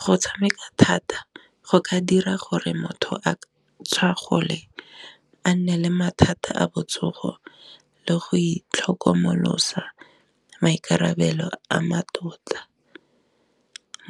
Go tshameka thata go ka dira gore motho a tlhagole a nne le mathata a botsogo le go itlhokomolosa maikarabelo a mmatota,